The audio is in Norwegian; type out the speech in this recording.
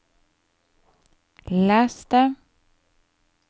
les det